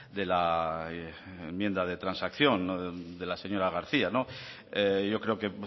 de la enmienda de transacción de la señora garcía yo creo que